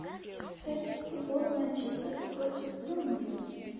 хотим футбол манчестер против бернли